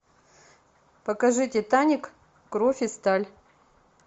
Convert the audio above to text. покажи титаник кровь и сталь